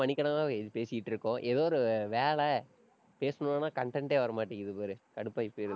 மணிக்கணக்கா பே~ பேசிட்டு இருக்கோம். ஏதோ ஒரு வேலை, பேசணும்னா content ஏ வரமாட்டேங்குது பாரு கடுப்பாயி போயிறது.